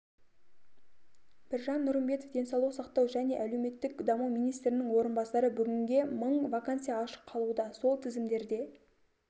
біржан нұрымбетов денсаулық сақтау және әлеуметтік даму министрінің орынбасары бүгінге мың вакансия ашық қалуда сол тізімдерде